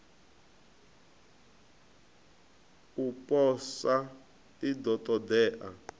u posa i ḓo ṱoḓea